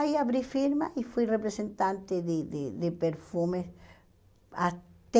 Aí abri firma e fui representante de de de perfumes até...